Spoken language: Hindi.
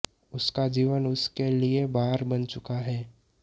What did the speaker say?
उसका जीवन उसके लिए भार बन चुका है